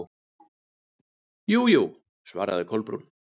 Jú, jú- svaraði Kolbrún.